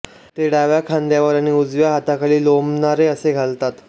ते डाव्या खांद्यावर आणि उजव्या हाताखाली लोंबणारे असे घालतात